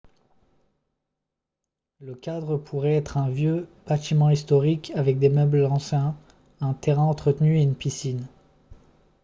le cadre pourrait être un vieux bâtiment historique avec des meubles anciens un terrain entretenu et une piscine